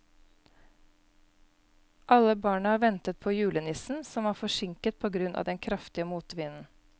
Alle barna ventet på julenissen, som var forsinket på grunn av den kraftige motvinden.